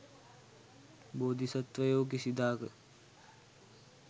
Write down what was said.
බෝධිසත්වයෝ කිසිදාක